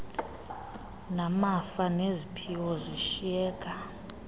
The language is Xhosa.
namafa neziphiwo zishiyeka